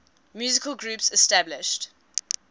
musical groups established